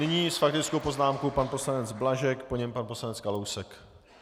Nyní s faktickou poznámkou pan poslanec Blažek, po něm pan poslanec Kalousek.